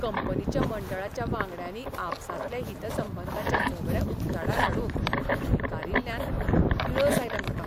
कंपनीच्या मंडळाच्या वांगड्यांनी आपसांतलें हितसंबंधांचें झगडें उकताडार हाडूंक न्हयकारील्ल्यान किळस आयल्या म्हाका.